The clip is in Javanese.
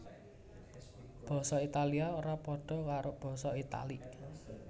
Basa Italia ora padha karo basa Italik